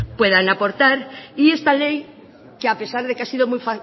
puedan aportar y esta ley que a pesar de que ha sido muy